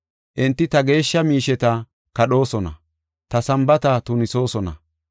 Enti ta geeshsha miisheta kadhoosona; ta Sambaata tunisoosona.